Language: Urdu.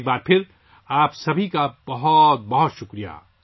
ایک بار پھر آپ سب کا بہت شکریہ